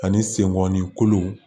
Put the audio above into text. Ani senkɔnni kolow